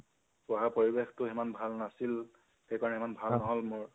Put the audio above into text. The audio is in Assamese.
পঢ়া পৰিৱেশটো ইমান ভাল নাছিল, সেইকাৰনে ইমান ভাল নহল মোৰ।